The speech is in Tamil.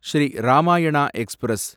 ஸ்ரீ ராமாயண எக்ஸ்பிரஸ்